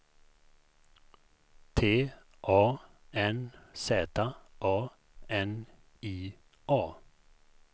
T A N Z A N I A